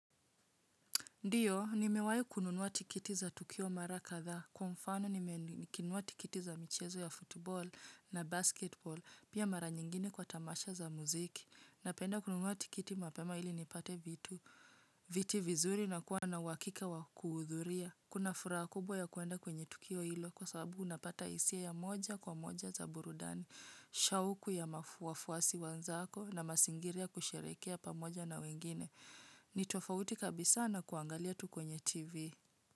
Ndio, nimewahi kununua tikiti za tukio mara kadha. Kwa mfano nimenunua tikiti za michezo ya football na basketball, pia mara nyingine kwa tamasha za muziki. Napenda kununua tikiti mapema ili nipate vitu, viti vizuri na kuwa na uhakika wa kuhudhuria. Kuna furaha kubwa ya kuenda kwenye tukio hilo kwa sababu unapata hisia ya moja kwa moja za burudani, shauku ya wafuasi wanzako na mazingira ya kusherehekea pamoja na wengine. Ni tofauti kabisa na kuangalia tu kwenye tv.